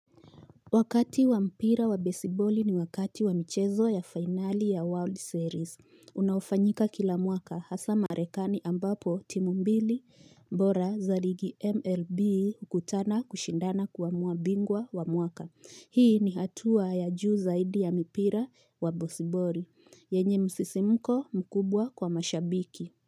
Wakati wa mpira wa baseball ni wakati wa michezo ya finali ya World Series. Unaofanyika kila mwaka hasa marekani ambapo timumbili bora za ligi MLB hukutana kushindana kuamua bingwa wa mwaka. Hii ni hatua ya juu zaidi ya mpira wa baseballi. Yenye msisimuko mkubwa kwa mashabiki.